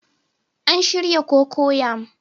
An shirya cocoyam